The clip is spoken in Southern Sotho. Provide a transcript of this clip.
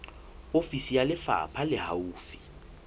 ofisi ya lefapha le haufi